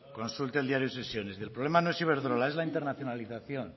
consulte el diario de sesiones el problema no es iberdrola es la internacionalización